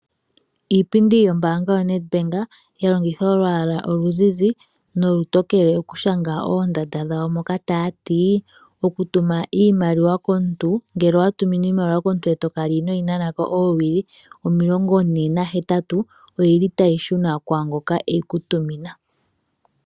Iipindi yombaanga yaNedbank ya longitha olwaala oluzizi nolutokele okushanga oondanda dhawo moka taya ti:"Okutuma iimailiwa komuntu, ngele owa tuminwa iimaliwa komuntu e to kala inoo yi nana ko oowili omilongo ne nahetatu (48), otayi shuna kwaa ngoka e yi ku tumina."